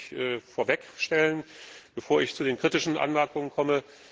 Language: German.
Das will ich vorwegschicken, bevor ich zu den kritischen Anmerkungen komme.